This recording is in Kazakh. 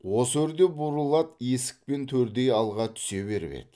осы өрде бурыл ат есік пен төрдей алға түсе беріп еді